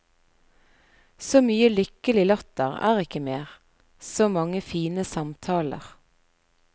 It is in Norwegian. Så mye lykkelig latter er ikke mer, så mange fine samtaler.